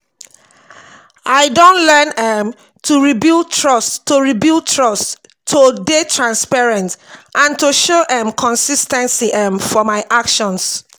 i don learn um to rebuild trust to rebuild trust to dey transparent and to show um consis ten cy um for my actions.